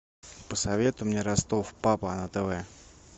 посоветуй мне ростов папа на тв